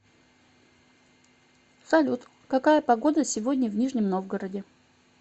салют какая погода сегодня в нижнем новгороде